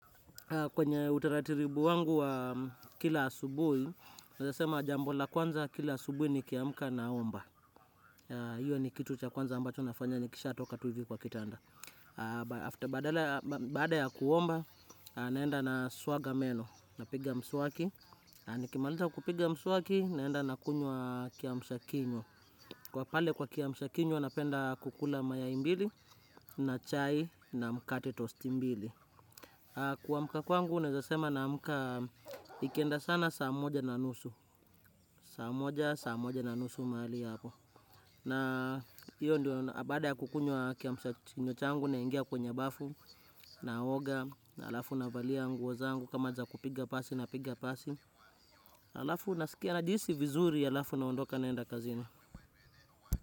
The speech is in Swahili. Kwenye utaratiribu wangu wa kila asubuhi, ninaweza sema jambo la kwanza kila asubuhi nikiamka naomba. Hiyo ni kitu cha kwanza ambacho nafanya nikishatoka tu hivi kwa kitanda. Badala baada ya kuomba, naenda naswaga meno, napiga mswaki. Nikimaliza kupiga mswaki, naenda nakunywa kiamsha kinywa. Kwa pale kwa kiamsha kinywa, napenda kukula mayai mbili, na chai, na mkate tosti mbili. Kuamka kwangu naweza sema naamka ikienda sana saa moja na nusu saa moja, saa moja na nusu mahali hapo na hiyo ndio baada ya kukunywa kiamsha kinywa changu naingia kwenye bafu naoga, na halafu navalia nguo zangu kama za kupiga pasi napiga pasi halafu nasikia najihisi vizuri halafu naondoka naenda kazini.